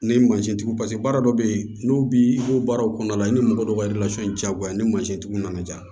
Ni tigiw paseke baara dɔw bɛ ye n'u bi i b'o baaraw kɔnɔna la i ni mɔgɔ dɔw ka diyagoya ni mansintigiw nana diya